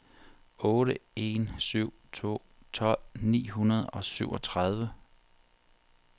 otte en syv to tolv ni hundrede og syvogtredive